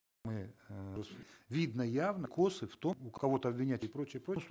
мы видно явно в том кого то обвинять и прочее прочее